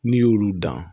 N'i y'olu dan